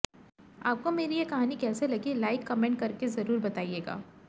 आपको मेरी ये कहानी कैसी लगी लाइक कमेंट करके जरूर बताइएगा